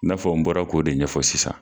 N'afɔ n bɔra k'o de ɲɛfɔ sisan.